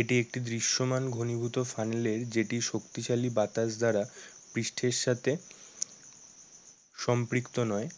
এটি একটি দৃশ্যমান ঘনীভূত ফানেলের যেটি শক্তিশালী বাতাস দ্বারা পৃষ্ঠের সাথে সম্পৃক্ত নয়।